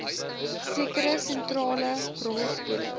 sekere sentrale rolspelers